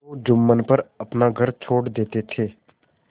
तो जुम्मन पर अपना घर छोड़ देते थे